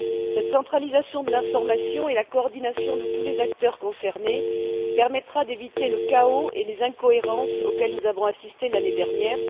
Cette centralisation de l'information et la coordination de tous les acteurs concernés permettra d'éviter le chaos et les incohérences auxquels nous avons assisté l'année dernière.